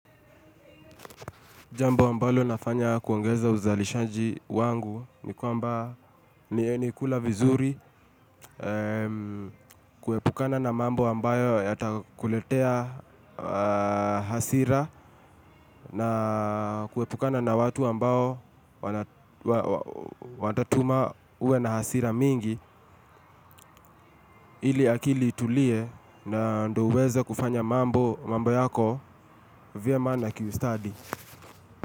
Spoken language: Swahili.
Jambo ambalo nafanya kuongeza uzalishaji wangu ni kwamba nakula vizuri kuhepukana na mambo ambayo yatakuletea hasira na kuepukana na watu ambao watatuma uwe na hasira mingi ili akili itulie na ndio uweze kufanya mambo yako vyema na kiustadi.